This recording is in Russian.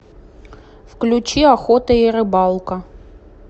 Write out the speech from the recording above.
включи охота и рыбалка